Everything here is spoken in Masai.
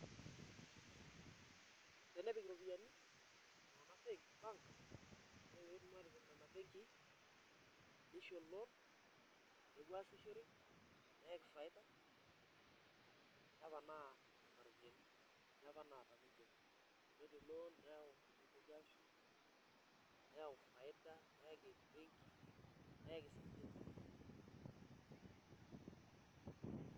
Tenepik iropiyiani iltung'anak bank ore pee etum aatipik nena benkii nisho loan nepuo aasishore neyakin faida neponaa nena ropiyiani enye apa naata ninche netum loan nitoki aashuk neyau faida neyaki embenki neyaki sininche ilturruri.